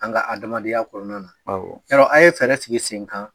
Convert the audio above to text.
An ka adamadenya kɔnɔna na, awɔ. Yarɔ an ye fɛɛrɛ sigi sen kan